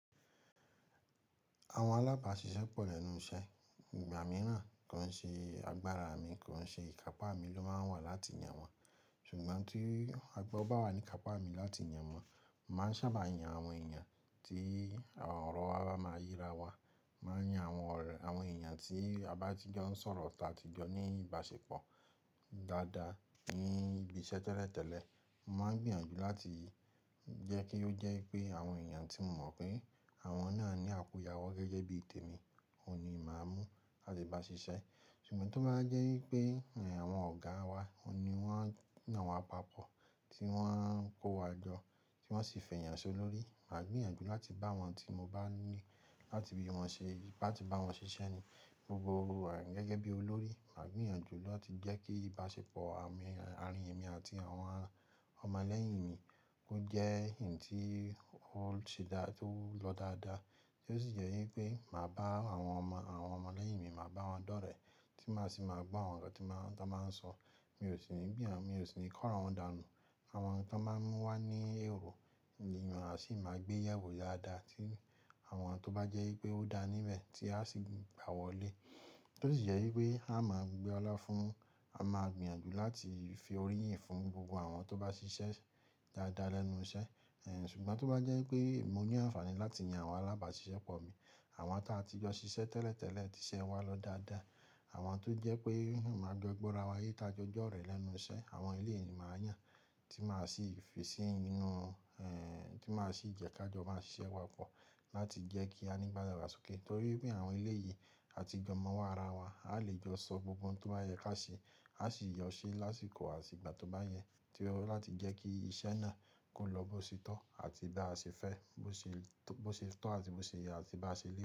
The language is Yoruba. Àwọn alábàáṣiṣẹ́ pọ̀ lẹ́nu iṣẹ́. Ìgbà mìíràn, kò ń ṣe agbára mi, kò ń ṣe ìkápàmi ló máa ń wà láti yan wọn. Ìgbà mìíràn, kò ń ṣe agbára mi, kò ń ṣe ìkàpà mi ló máa ń wà láti yan wọn. Mo máa ń yan àwọn ọ̀rẹ́ àwọn èèyàn tí a bá ti jọ ń sọ̀rọ̀ tí a bá ti jọ ní ìbásepọ̀ dáadáa ní ibi ìsẹ́ tẹ́lẹ̀tẹ́lẹ̀. Mo máa hún gbìyànjú láti jẹ̀ kí ó jẹ́ wípé awọn èèyàn tí mo mọ̀ pé àwọn náà ní àkùnyawọ́ bíi témi òun ni máà mú láti bá ṣiṣẹ́. Ṣùgbọ́n tó bá wá jẹ́ wípé àwọn ọ̀gá wa òun ni wọ́n yàn wa papọ̀, tí wọ́n kó wa jọ, tí wọ́n sì fèèyan solórí, màá gbìyànjú láti bá wọn tí mo bá ní láti bá wọn ṣiṣẹ́ ni gbogbo àwọn gẹ́gẹ́ bí olórí. Màá gbìyànjú láti jẹ́ kí ìbáṣepọ̀ àmi àrin èmi àti àwọn ọmọ lẹ́yìn mi kó jẹ́ èyí tí ó se dáa, tí ó lọ dáadáa. Ó sì jẹ́ wípé màá bá àwọn ọmọ àwọn ọmọ lẹ́yìn mi, màá bá wọn dọ́rẹ̀ẹ́, tí màá sì máa gbọ́ àwọn nǹkan tí nbá tí hán bá ń sọ. Mi ò sì ní gbìyàn, mi ò sì ní kọ́ àwọn dànù. Àwọn nǹkan tí wọ́n máa mú wá ní èrọ̀, ni máa sì máa gbé yẹ̀wò ya daa tí àwọn tó bá jẹ́ wípé ó dáa níbẹ̀ tí á sì gbà wọlé. Ó sì jẹ́ wípé á máa gbé ọlá fún, á máa gbìyànjú láti fi orí yìn fún gbogbo àwọn tó bá ṣiṣẹ́ dáadáa lẹ́nu iṣẹ́. Ṣùgbọ́n tó bá jẹ́ wípé mo ní àǹfààní láti yan àwọn alábàáṣiṣẹ́ pọ̀ mi, àwọn táa ti jọ ṣiṣẹ́ tẹ́lẹ̀tẹ́lẹ̀, ti iṣẹ́ wa lọ dáadáa, àwọn tó jẹ́ pé màá jọ gbọ́ra wa yé táa jọ jọ́ọ̀rẹẹ́ lẹ́nu iṣẹ́, àwọn eléyìí ni màá yàn tí màá sì fisí inú un ẹ̀ tí màá sì jẹ́ ká jọ máa ṣiṣẹ́ papọ̀ láti jẹ́ kí a nígbáyáwásókè. Nítorí pé àwọn eléyìí, a ti jọ mọwọ́ ara wa. Àá lè jọ sọ gbogbo ohun tó bá yẹ ká ṣe, àá sì yọ ṣé lásìkò àtìgbà tó bá yẹ, ti ẹ ó láti jẹ́ kí iṣẹ́ náà kó lọ bó ṣe tọ́ àti báa ṣe fẹ́, bó ṣe tọ́ àti bó ṣe yẹ àti bá ṣe ríi.